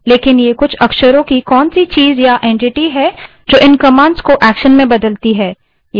लेकिन ये कुछ अक्षरों की कौनसी चीज़ या entity है जो इन commands को actions में बदलती है